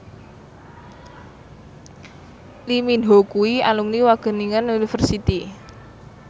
Lee Min Ho kuwi alumni Wageningen University